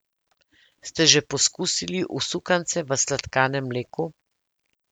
Ste že pokusili usukance v sladkanem mleku?